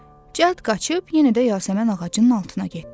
Cəld qaçıb yenə də yasəmən ağacının altına getdi.